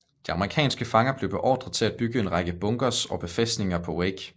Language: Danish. De amerikanske fanger blev beordret til at bygge en række bunkers og befæstninger på Wake